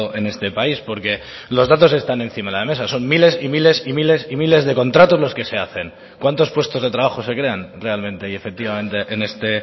en este país porque los datos están encima de la mesa son miles y miles y miles y miles de contratos los que se hacen cuántos puestos de trabajos se crean realmente y efectivamente en este